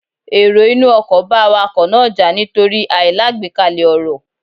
Èrò inú ọkò bá Awakọ̀ náà jà nítorí àìlágbékalè ọ̀rọ̀